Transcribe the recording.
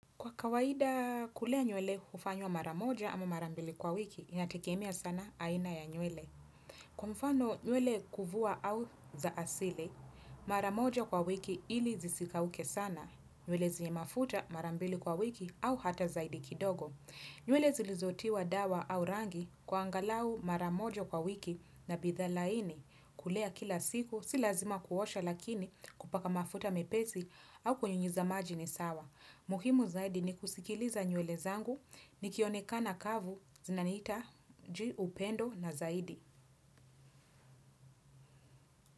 Kwa kawaida kulea nywele hufanywa mara moja ama mara mbili kwa wiki, inategemea sana aina ya nywele. Kwa mfano nywele kuvua au za asili, mara moja kwa wiki ili zisikauke sana. Zile zenye mafuta mara mbili kwa wiki au hata zaidi kidogo nywele zilizotiwa dawa au rangi kwa angalau mara moja kwa wiki na bidhaa laini. Kulea kila siku, si lazima kila siku kuosha lakini kupaka mafuta mepesi au kunyunyizia maji ni sawa muhimu zaidi ni kusikiliza nywele zangu nikionekana kavu zinaniita juu upendo na zaidi.